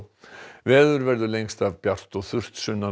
veður verður lengst af bjart og þurrt sunnan og